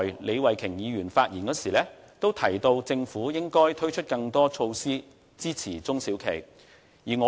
李慧琼議員剛才發言時也提到，政府應該推出更多支持中小企的措施。